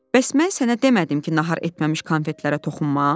Bəs mən sənə demədim ki, nahar etməmiş konfetlərə toxunma?